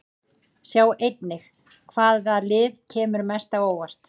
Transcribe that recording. Sjá einnig: Hvaða lið kemur mest á óvart?